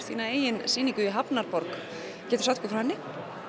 þína eigin sýningu í hafnarborg geturðu sagt okkur frá henni